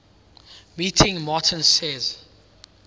meeting martin says